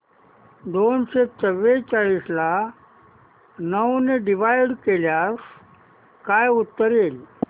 दोनशे चौवेचाळीस ला नऊ ने डिवाईड केल्यास काय उत्तर येईल